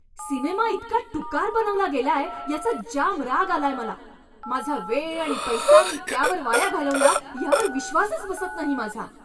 Cinema इतका टुकार बनवला गेलाय याचा जाम राग आलाय मला. माझा वेळ आणि पैसा मी त्यावर वाया घालवला यावर विश्वासच बसत नाही माझा.